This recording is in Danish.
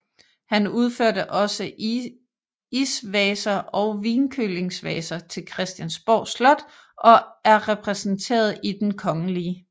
Han udførte også isvaser og vinkølingsvaser til Christiansborg Slot og er repræsenteret i Den kgl